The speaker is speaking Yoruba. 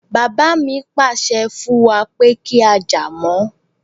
Bàbá mi pàṣẹ fún wa pé kí á jà mọ́